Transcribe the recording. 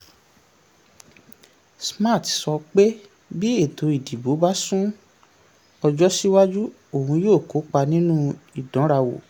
smart sọ pé bí ètò ìdìbò bá sún ọjọ́ síwájú òun yóò kópa nínú ìdánrawò.